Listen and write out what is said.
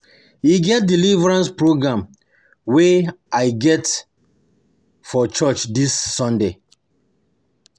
E get deliverance program wey I get I get for church dis sunday